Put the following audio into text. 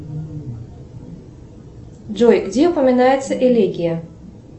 джой где упоминается элегия